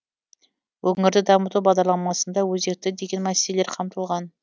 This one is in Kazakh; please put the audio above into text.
өңірді дамыту бағдарламасында өзекті деген мәселелер қамтылған